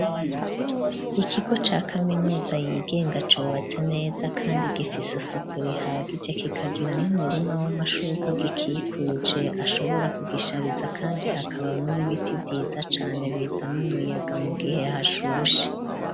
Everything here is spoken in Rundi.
Ikigo ca kaminuza yigenga cubatse neza, kandi gifisusuku rihagije kigagira n'umurima w'amashurwa agikikuje ashobora kugishariza, kandi hakabamwo n'ibiti vyiza cane biza n'umuyaga mu gihe hashushe.